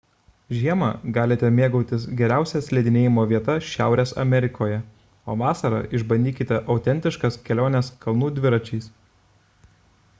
žiemą galite mėgautis geriausia slidinėjimo vieta šiaurės amerikoje o vasarą išbandykite autentiškas keliones kalnų dviračiais